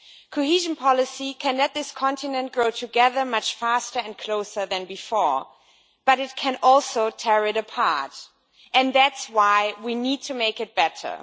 Cohesion policy can let this continent grow together much faster and closer than before, but it can also tear it apart and that's why we need to make it better.